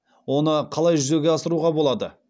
оны қалай жүзеге асыруға болады